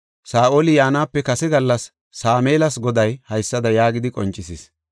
Saa7oli yaanape kase gallas Sameelas Goday haysada yaagidi qoncisis;